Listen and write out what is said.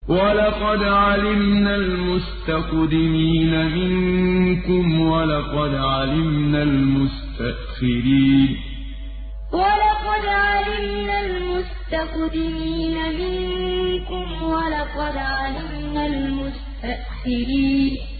وَلَقَدْ عَلِمْنَا الْمُسْتَقْدِمِينَ مِنكُمْ وَلَقَدْ عَلِمْنَا الْمُسْتَأْخِرِينَ وَلَقَدْ عَلِمْنَا الْمُسْتَقْدِمِينَ مِنكُمْ وَلَقَدْ عَلِمْنَا الْمُسْتَأْخِرِينَ